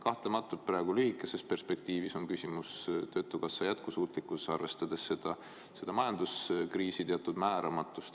Kahtlemata praegu, lühikeses perspektiivis on küsimus töötukassa jätkusuutlikkuses, arvestades majanduskriisi teatud määramatust.